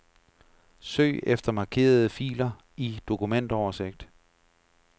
Søg efter markerede filer i dokumentoversigt.